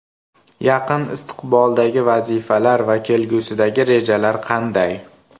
Yaqin istiqboldagi vazifalar va kelgusidagi rejalar qanday?